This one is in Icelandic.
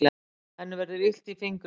Henni verður illt í fingrunum.